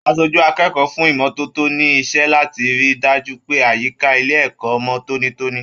Aṣojú akẹ́kọ̀ọ́ fún ìmọ́tótó ni iṣẹ láti rí dájú pé àyíká ilé ẹ̀kọ́ mọ tónítóní.